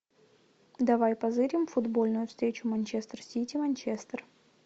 давай позырим футбольную встречу манчестер сити манчестер